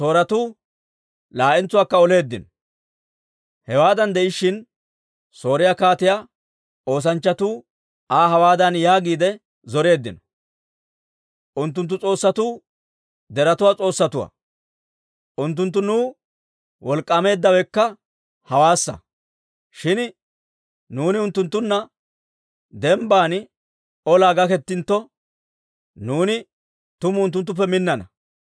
Hewaadan de'ishshin Sooriyaa kaatiyaa oosanchchatuu Aa hawaadan yaagiide zoreeddino; «Unttunttu s'oossatuu deretuwaa s'oossatuwaa; unttunttu nuw wolk'k'aameeddawekka hawaassa. Shin nuuni unttunttunna dembban olaa gakettintto, nuuni tumu unttuttuppe minnana.